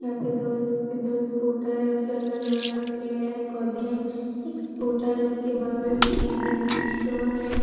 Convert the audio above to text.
यहाँ पे दो स्कूटर है उनके अगल-बगल में पेड़ है पौधे है एक स्कूटर उनके बगल में एक जनरल स्टोर है ।